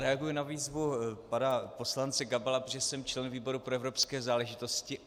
Reaguji na výzvu pana poslance Gabala, protože jsem členem výboru pro evropské záležitosti.